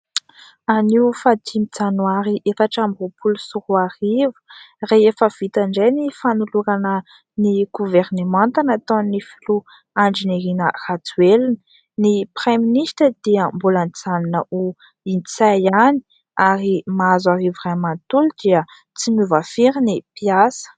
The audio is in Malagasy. Anio faha dimy janoary, efatra amby roapolo sy roa arivo. Rehefa vita indray ny fanolorana ny governemanta nataon'ny filoha Andrinirina Rajoelina : ny praiminisitra dia mbola nijanona ho Ntsay ihany, ary Mahazoarivo iray manontolo dia tsy niova firy ny mpiasa.